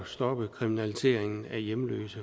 stoppe kriminaliseringen af hjemløse